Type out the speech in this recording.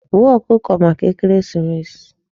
Gbuo ọkụkọ maka ekeresimesi!